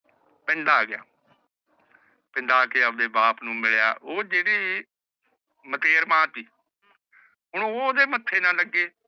ਪਿੰਡ ਆਗਯਾ ਪਿੰਡ ਆਕੇ ਅਓਨੇ ਬਾਪ ਨੂ ਮਿਲਯਾ ਊਹ ਜੇਡੀ ਹੁਨ ਓਹ ਓਹ੍ਨ੍ਦੇ ਮਾਥੇ ਨਾ ਲੱਗੇ